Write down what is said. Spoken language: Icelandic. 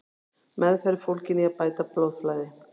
Meðferð er fólgin í að bæta blóðflæði.